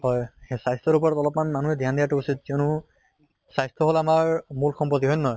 হয় হে স্বাস্থ্য়ৰ ওপৰত অলপ মানে মানুহে ধ্য়ান দিয়াতো উচিত কিয়নো স্বাস্থ্য় হʼল আমাৰ মূল সম্পত্তি, হয় নে নহয়?